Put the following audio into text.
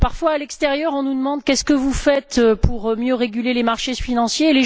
Parfois, à l'extérieur, on nous demande Qu'est ce que vous faites pour mieux réguler les marchés financiers?,